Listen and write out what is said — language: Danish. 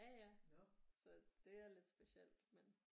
Ja ja så det er lidt specielt men